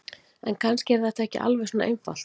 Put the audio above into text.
En kannski er þetta ekki alveg svona einfalt.